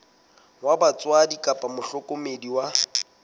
wa batswadi kapa mohlokomedi wa